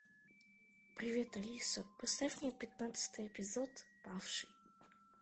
привет алиса поставь мне пятнадцатый эпизод павший